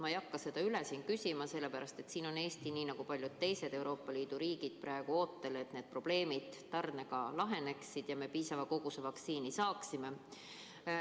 Ma ei hakka seda üle küsima, sest Eesti on nii nagu paljud teised Euroopa Liidu riigid praegu ootel, et probleemid tarnega laheneksid ja me piisava koguse vaktsiini saaksime.